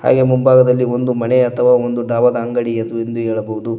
ಹಾಗೆ ಮುಂಭಾಗದಲ್ಲಿ ಒಂದು ಮನೆ ಅಥವಾ ಒಂದು ಡಾಬದ ಅಂಗಡಿ ಎಂದು ಹೇಳಬಹುದು.